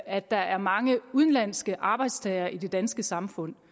at der er mange udenlandske arbejdstagere i det danske samfund